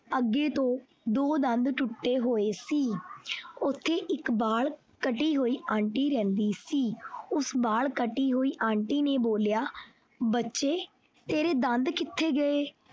ਅੱਗੇ ਤੋਂ ਦੋ ਦੰਦ ਟੁੱਟੇ ਹੋਏ ਸੀ ਓਥੇ ਇੱਕ ਵੱਲ ਕੱਟੀ ਹੋਈ aunty ਰਹਿੰਦੀ ਸੀ ਉਸ ਵਾਲ ਕੱਟੀ ਹੋਈ aunty ਨੇ ਬੋਲਿਆ ਬੱਚੇ ਤੇਰੇ ਦੰਦ ਕਿਥੇ ਗਏ।